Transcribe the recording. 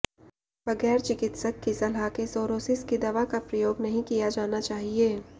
बगैर चिकित्सक की सलाह के सोरोसिस की दवा का प्रयोग नहीं किया जाना चाहिए